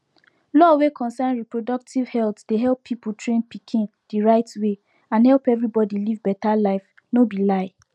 law wey concern reproductive health dey help people train pikin the right wayand help everybody live better lifeno be lie